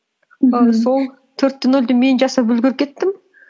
і сол төрт те нөлді мен жасап үлгеріп кеттім